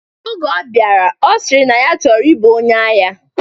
Oge ọ bịara, ọ sịrị na ya chọrọ ibu onye agha.